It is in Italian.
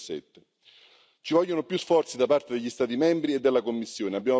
2017. Ci vogliono più sforzi da parte degli Stati membri e della Commissione.